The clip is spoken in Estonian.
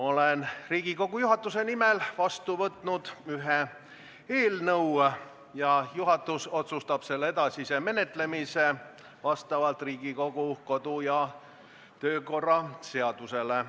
Olen Riigikogu juhatuse nimel vastu võtnud ühe eelnõu, juhatus otsustab selle edasise menetlemise vastavalt Riigikogu kodu- ja töökorra seadusele.